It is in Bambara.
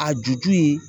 A ju ju ye